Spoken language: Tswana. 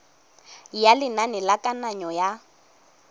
ya lenane la kananyo ya